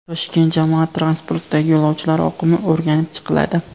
Toshkent jamoat transportidagi yo‘lovchilar oqimi o‘rganib chiqiladi.